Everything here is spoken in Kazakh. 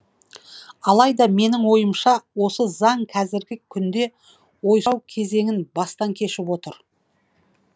алайда менің ойымша осы заң кәзіргі күнде ойсырау кезеңін бастан кешіп отыр